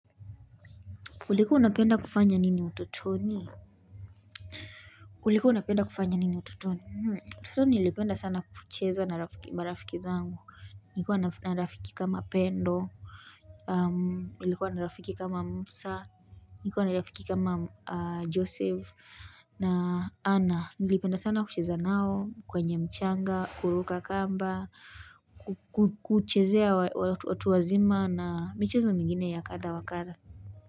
Ulikuws unapenda kufanya nini utotoni? Ulikuwa unapenda kufanya nini utotoni? Utotoni nilipenda sana kucheza na marafiki zangu. Nilikuwa na rafiki kama Pendo. Nilikuwa na rafiki kama Musa. Nikuwa narafiki kama Joseph. Na Anna. Nilipenda sana kucheza nao. Kwenye mchanga. Kuruka kamba. Kuchezea watu wazima. Na michezo mingine ya kadha wa kadha.